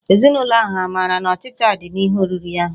Ezinụlọ ahụ hà maara na ọchịcha dị n'ihe oriri ahụ?